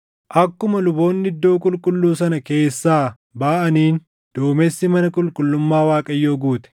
Akkuma luboonni Iddoo Qulqulluu sana keessaa baʼaniin duumessi mana qulqullummaa Waaqayyoo guute.